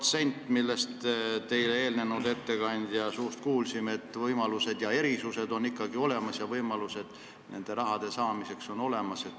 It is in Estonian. Aga nagu me otsuse eelnõu ettekandja suust kuulsime, erisuse võimalus ja seega ka nende summade saamise võimalus on ikkagi olemas.